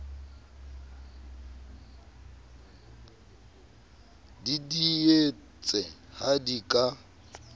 di didietse ha di ka